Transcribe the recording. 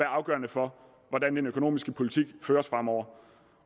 afgørende for hvordan den økonomiske politik føres fremover